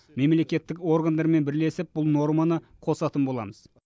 мемлекеттік органдармен бірлесіп бұл норманы қосатын боламыз